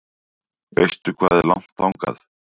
Veistu hvað er langt þangað?